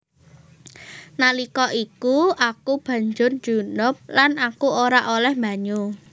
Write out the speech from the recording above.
Nalika iku aku banjur junub lan aku ora olèh banyu